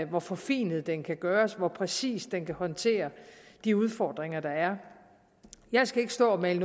hvor forfinet den kan gøres og hvor præcist den kan håndtere de udfordringer der er jeg skal ikke stå og male